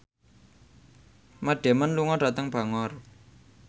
Matt Damon lunga dhateng Bangor